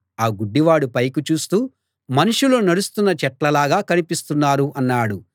ఆ గుడ్డివాడు పైకి చూస్తూ మనుషులు నడుస్తున్న చెట్ల లాగా కనిపిస్తున్నారు అన్నాడు